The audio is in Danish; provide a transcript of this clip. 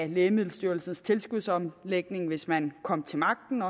lægemiddelstyrelsens tilskudsomlægning hvis man kom til magten